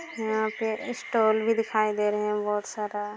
यहाँ पे स्टाल भी दिखाई दे रहे हैं बहोत सारा --